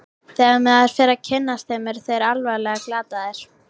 Þegar maður fer að kynnast þeim eru þeir alveg glataðir.